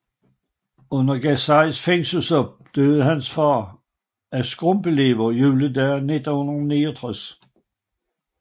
Under Gacys fængselsophold døde hans far af skrumpelever juledag 1969